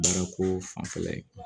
Baara ko fanfɛla ye